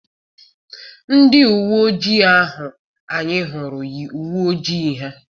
Ndị uwe ojii ahụ anyị hụrụ yi uwe ojii ha.